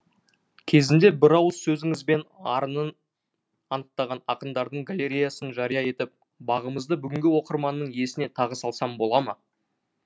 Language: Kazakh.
кезінде бір ауыз сөзіңізбен арынын анықтаған ақындардың галереясын жария етіп бағамыңызды бүгінгі оқырманның есіне тағы салсам бола ма